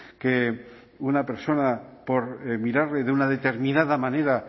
que una persona por mirarle de una determinada manera